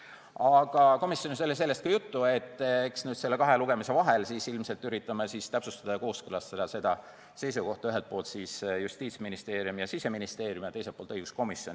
Aga komisjonis oli sellest ka juttu, et eks nüüd nende kahe lugemise vahel ilmselt üritame täpsustada ja kooskõlastada seda seisukohta – ühelt poolt Justiitsministeerium ja Siseministeerium ning teiselt poolt õiguskomisjon.